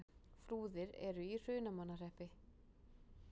Flúðir er í Hrunamannahreppi.